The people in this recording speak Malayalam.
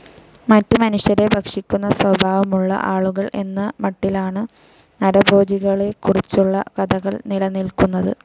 മറ്റ് മനുഷ്യരെ ഭക്ഷിക്കുന്ന സ്വഭാവമുള്ള ആളുകൾ എന്ന മട്ടിലാണ് നരഭോജികളെക്കുറിച്ചുള്ള കഥകൾ നിലനിൽക്കുന്നത്.